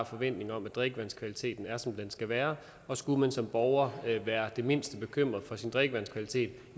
forventning om at drikkevandskvaliteten er som den skal være og skulle man som borger være det mindste bekymret for sin drikkevandskvalitet